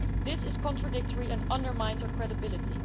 This is contradictory and undermines our credibility.